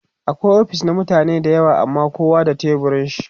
akwai ofis na mutane da yawa amma kowa da teburin shi